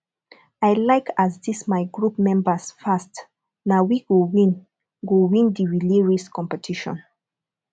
i like as this my group members fast na we go win go win the relay race competition